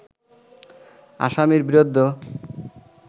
আসামির বিরুদ্ধ